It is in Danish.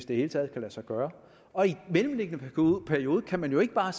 det hele taget kan lade sig gøre og i den mellemliggende periode kan man jo ikke bare